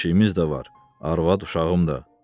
ev eşiyimiz də var, arvad uşağım da.